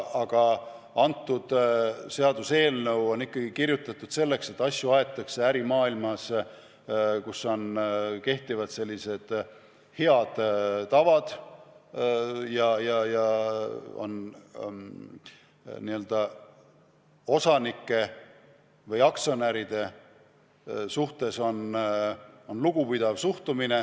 Aga see seaduseelnõu on kirjutatud eeldusega, et asju aetakse ärimaailmas, kus kehtivad head tavad ja osanike või aktsionäride suhtes on lugupidav suhtumine.